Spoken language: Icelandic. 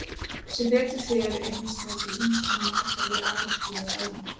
Sem betur fer er hins vegar til ýmiss konar meðferð við áráttu og þráhyggju.